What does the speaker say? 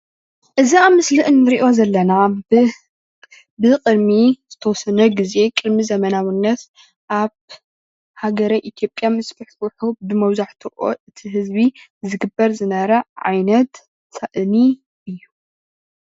እዚ ኣብ ምስሊ እንሪኦ ዘለና ብቅድሚ ዝተወሰነ ግዜ ቅድሚ ዘመናውነት ኣብ ሃገረ ኢ/ያ ምስፍሕፍሑ መብዛሕትኡ እቲ ህዝቢ ዝግበር ዝነበረ ዓይነት ሳእኒ እዩ፡፡